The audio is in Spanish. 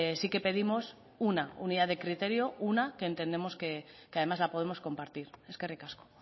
sí que pedimos una unidad de criterio una que entendemos que además la podemos compartir eskerrik asko